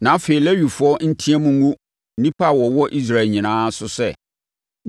Na afei, Lewifoɔ nteam ngu nnipa a wɔwɔ Israel nyinaa so sɛ: